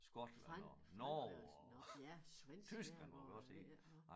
Frankrig og sådan norsk ja svensk ja og ved ikke nu